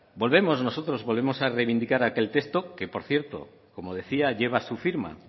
nosotros volvemos a revindicar aquel texto que por cierto como decía lleva su firma